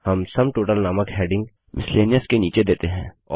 हम sum total नामक heading miscellaneous के अंतर्गत देते हैं